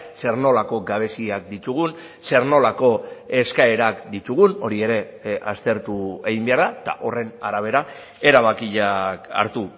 zer nolako gabeziak ditugun zer nolako eskaerak ditugun hori ere aztertu egin behar da eta horren arabera erabakiak hartu